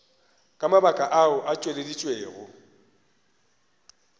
ka mabaka ao a tšweleditšwego